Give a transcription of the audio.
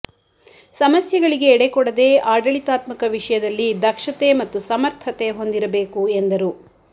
ಸಮಸ್ಯೆಗಳಿಗೆ ಎಡೆಕೊಡದೆ ಆಡಳಿತಾತ್ಮಕ ವಿಷಯದಲ್ಲಿ ದಕ್ಷತೆ ಮತ್ತು ಸಮರ್ಥತೆ ಹೊಂದಿರಬೇಕು ಎಂದರು